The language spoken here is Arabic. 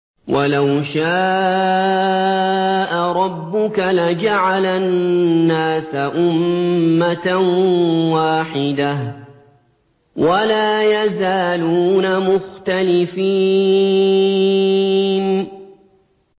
وَلَوْ شَاءَ رَبُّكَ لَجَعَلَ النَّاسَ أُمَّةً وَاحِدَةً ۖ وَلَا يَزَالُونَ مُخْتَلِفِينَ